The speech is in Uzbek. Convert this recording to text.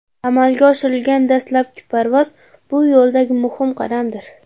Amalga oshirilgan dastlabki parvoz bu yo‘ldagi muhim qadamdir.